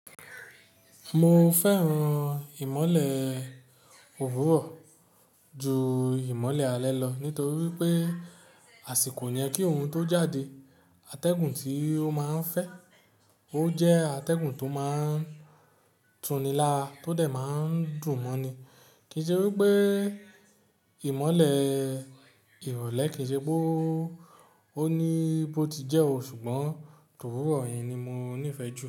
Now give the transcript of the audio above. Mo fẹ́ràn ìmọ́lẹ̀ òwúrọ̀ ju ìmọ́lẹ̀ alẹ́ lọ nítorí pé àsìkò yẹn kí oorun tó jáde, atẹ́gùn tí ó máa ń fẹ́, ó jẹ́ atẹ́gùn tó máa ń tuni lara tó de máa ń dùn mọ́ni. Kì í ṣe wí pé ìmọ́lẹ̀ ìrọ̀lẹ́ kì í ṣe wí pé ó ní bó ti jẹ́ o ṣùgbọ́n towúró yẹn ni mo nífẹ̀ẹ́ jù.